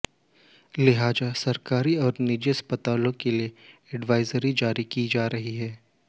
लिहाजा सरकारी और निजी अस्पतालों के लिए एडवाइजरी जारी की जा रही है